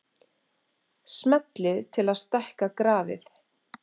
Smellið til að stækka grafið.